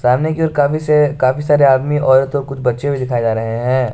सामने की ओर काफी से काफी सारे आदमी औरत और कुछ बच्चे भी दिखाये जा रहे हैं।